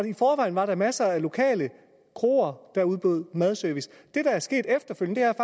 i forvejen var der masser af lokale kroer der udbød madservice det der er sket efterfølgende er